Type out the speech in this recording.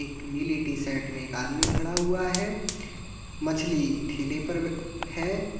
एक नीली टी-शर्ट में एक आदमी खड़ा हुआ है मछली ठेले पर बे है।